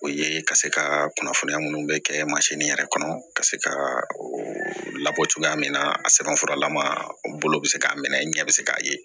O ye ka se ka kunnafoniya minnu bɛ kɛ yɛrɛ kɔnɔ ka se ka labɔ cogoya min na a sɛbɛnfuralama bolo bɛ se k'a minɛ ɲɛ bi see'a ye